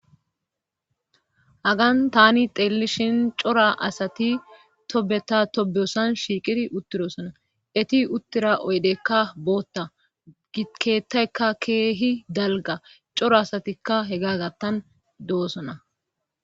hagan tani xeellishin cora asati tobeta tobeyosan shiiqiri uttirosona eti uttira oydekka bootta gikeettaykka keehi dalga cora asatikka hegagattan doossona